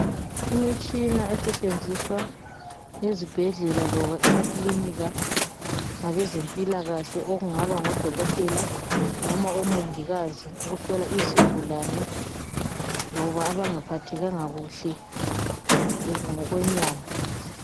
Imitshina esetshenziswa ezibhedlela loba emakilinika ngabezempilakhe okungaba ngodokotela loba omongikazi ukuhlola izigulane loba abangaphathekanga kuhle ngokwenyama.